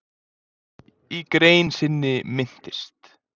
Í grein sinni minntist